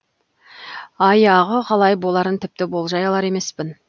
аяғы қалай боларын тіпті болжай алар емеспін